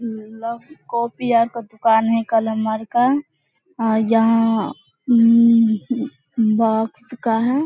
लो कोपिया का दुकान है। कलम मार का जहाँ हम्म हम्म बॉक्स का है।